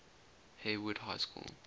hayward high school